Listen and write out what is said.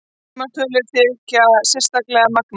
Sumar tölur þykja sérstaklega magnaðar.